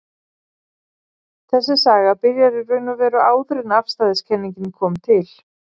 Þessi saga byrjar í raun og veru áður en afstæðiskenningin kom til.